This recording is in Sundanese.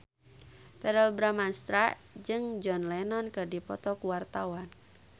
Verrell Bramastra jeung John Lennon keur dipoto ku wartawan